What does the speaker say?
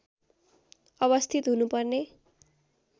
अवस्थित हुनुपर्ने